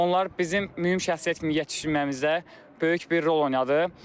Onlar bizim mühüm şəxsiyyət kimi yetişməyimizdə böyük bir rol oynadı.